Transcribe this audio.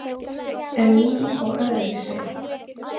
En ný og öðruvísi.